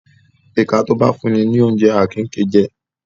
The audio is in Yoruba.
Ìka tó bá ńfún'ni lóúnjẹ, a kì í gée jẹ.